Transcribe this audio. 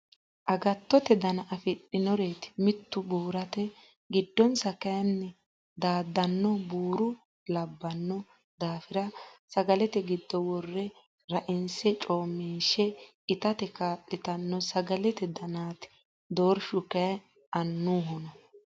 Agattote dana afidhinoreti mitu burate giddonsa kayinni daadano buuro labbano daafira sagalete giddo wore rainse coomishe ittate kaa'littano sagalete danati doorshu kayi annuhonna .